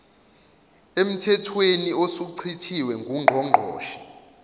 emthethweni osuchithiwe ngungqongqoshe